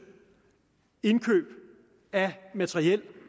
indkøb af materiel